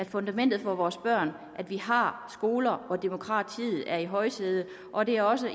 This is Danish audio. fundamentet for vores børn at vi har skoler hvor demokratiet er i højsædet og det er også